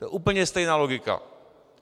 To je úplně stejná logika.